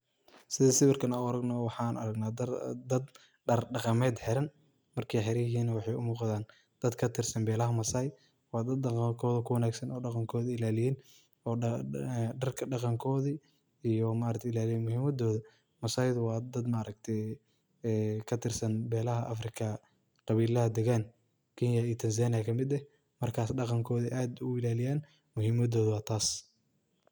Sidhi sawarkan an uaragno waxan aragna dad dar daqamet xiran markay hiriin waxay umuqdan dad katirsan belaha masai wa dad daqankodha ku wanagsan o daqan kodha ilalay o darka daqonkodha ilalii muhiimadodha masaida wa dad maaragti katarsaan beelaha Africa qabilaha dagan Kenya iyo Tanzania markas daqan kodha aad bu uilaliyeen muhimadodha wa taas.